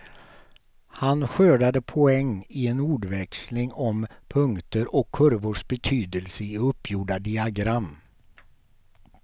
Han skördade poäng i en ordväxling om punkter och kurvors betydelse i uppgjorda diagram.